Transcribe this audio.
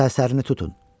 Səsərini tutun.